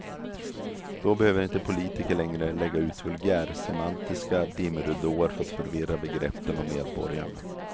Då behöver inte politiker längre lägga ut vulgärsemantiska dimridåer för att förvirra begreppen och medborgarna.